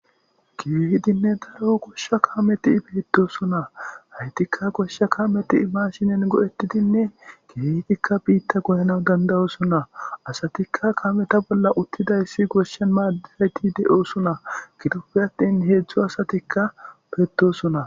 kifedinne daro koshsha kameti betosona haytikka goshsha kameti imashinen go7ettidinne kibetikka biitta goyana dandayosuna asatikka kameta bolla uttidayssi goshshen maadirayti de7osuna gitopfi attin heedzdzo asatikka petosuna